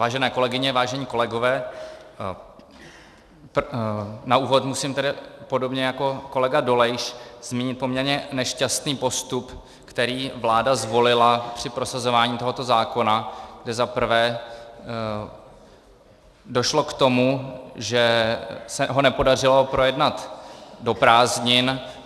Vážené kolegyně, vážení kolegové, na úvod musím tedy podobně jako kolega Dolejš zmínit poměrně nešťastný postup, který vláda zvolila při prosazování tohoto zákona, kdy zaprvé došlo k tomu, že se ho nepodařilo projednat do prázdnin.